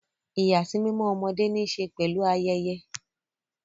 Ìyàsímímọ́ ọmọdé ní í ṣe pẹ̀lú ayẹyẹ.